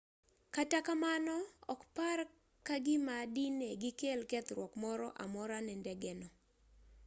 kata kamano ok par ka gima dine gikel kethruok moro amora ne ndegeno